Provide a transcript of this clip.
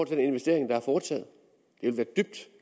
til den investering der er foretaget det ville dybt